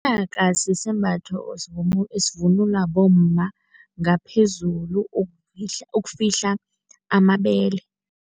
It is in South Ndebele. Inaka sisembatho esivunulwa bomma ngaphezulu ukufihla amabele.